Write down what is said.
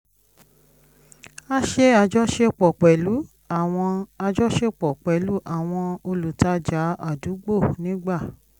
a ṣe ajọṣepọ̀ pẹ̀lú àwọn ajọṣepọ̀ pẹ̀lú àwọn olùtajà àdúgbò nígbà